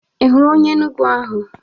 Ihụrụ onye Enugwu ahụ?